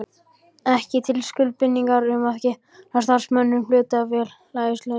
ekki til skuldbindingar um það að greiða starfsmönnum hlutafélagsins laun.